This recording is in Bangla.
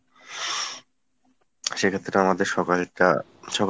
সেক্ষেত্রে আমাদের সকালেরটা সকালে